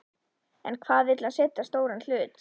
En hvað vill hann selja stóran hlut?